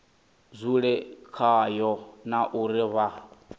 dzule khayo na uri vha